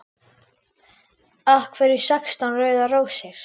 Af hverju sextán rauðar rósir?